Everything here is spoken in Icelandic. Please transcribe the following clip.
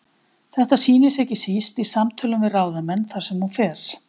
Þetta sýnir sig ekki síst í samtölum við ráðamenn þar sem hún fer.